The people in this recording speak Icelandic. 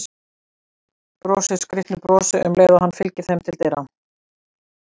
Brosir skrýtnu brosi um leið og hann fylgir þeim til dyra.